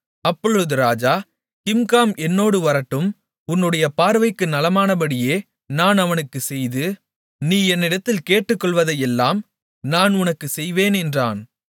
அப்பொழுது ராஜா கிம்காம் என்னோடு வரட்டும் உன்னுடைய பார்வைக்கு நலமானபடியே நான் அவனுக்கு செய்து நீ என்னிடத்தில் கேட்டுக்கொள்வதையெல்லாம் நான் உனக்குச் செய்வேன் என்றான்